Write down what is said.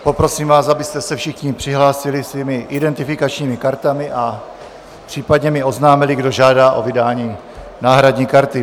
Poprosím vás, abyste se všichni přihlásili svými identifikačními kartami a případně mi oznámili, kdo žádá o vydání náhradní karty.